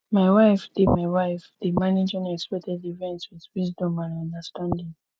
my wife dey my wife dey manage unexpected events with wisdom and understanding